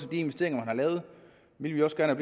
de investeringer man har lavet ville vi også gerne